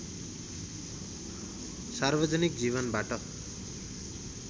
सार्वजनिक जीवनबाट